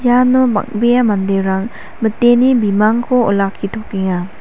iano bang·bea manderang miteni bimangko olakkitokenga.